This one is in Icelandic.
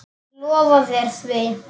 Ég lofa þér því.